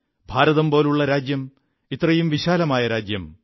ഭാരതം പോലുള്ള രാജ്യം ഇത്രയും വിശാലമായ രാജ്യം